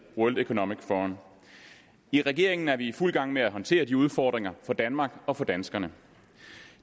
world economic forum i regeringen er vi i fuld gang med at håndtere de udfordringer for danmark og for danskerne